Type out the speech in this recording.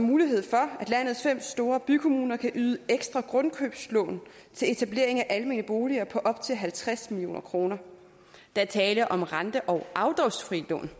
mulighed for at landets fem store bykommuner kan yde ekstra grundkøbslån til etablering af almene boliger på op til halvtreds million kroner der er tale om rente og afdragsfrie lån